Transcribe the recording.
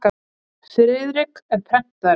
Friðrik er prentari.